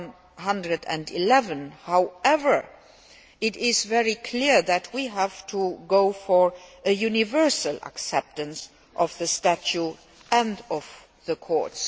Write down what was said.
to 111. However, it is very clear that we have to go for universal acceptance of the Statute and of the Court.